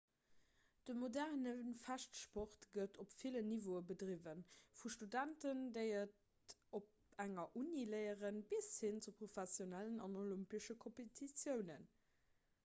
de moderne fechtsport gëtt op villen niveaue bedriwwen vu studenten déi et op enger uni léieren bis hin zu professionellen an olympesche kompetitiounen